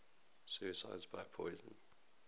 suicides by poison